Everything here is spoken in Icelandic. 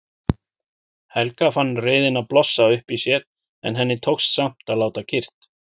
Helga fann reiðina blossa upp í sér en henni tókst samt að láta kyrrt.